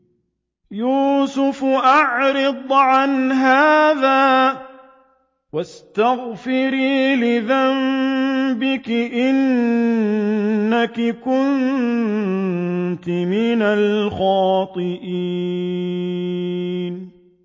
يُوسُفُ أَعْرِضْ عَنْ هَٰذَا ۚ وَاسْتَغْفِرِي لِذَنبِكِ ۖ إِنَّكِ كُنتِ مِنَ الْخَاطِئِينَ